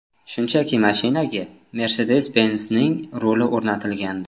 Shunchaki mashinaga Mercedes-Benz’ning ruli o‘rnatilgandi.